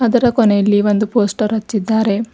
ಅದರ ಕೊನೆಯಲ್ಲಿ ಒಂದು ಪೋಸ್ಟರ್ ಅನ್ನು ಹಚ್ಚಿದ್ದಾರೆ.